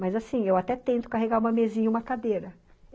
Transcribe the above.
Mas assim, eu até tento carregar uma mesinha e uma cadeira.